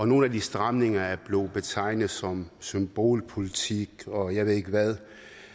nogle af de stramninger er blevet betegnet som symbolpolitik og jeg ved ikke hvad